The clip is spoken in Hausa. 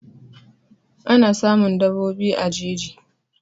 Ana samun daɓobi a jeji